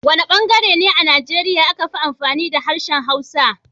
Wana bangare ne a Nigeria aka fi amfani da harshen Hausa?